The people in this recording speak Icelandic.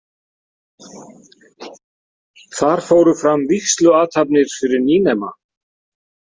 Þar fóru fram vígsluathafnir fyrir nýnema.